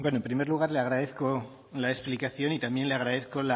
bueno en primer lugar le agradezco la explicación y también le agradezco